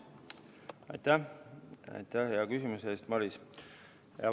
Aitäh hea küsimuse eest, Maris!